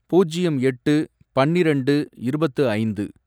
பூஜ்யம் எட்டு பன்னிரெண்டு இருபத்து ஐந்து